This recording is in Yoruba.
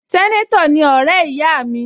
Sẹ́nétọ̀ ni ọ̀rẹ́ ìyá mi